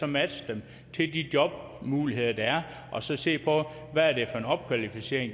matche dem til de jobmuligheder der er og så se på hvad det er for en opkvalificering